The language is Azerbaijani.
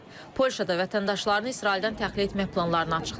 Polşa da vətəndaşlarını İsraildən təxliyə etmək planlarını açıqlayıb.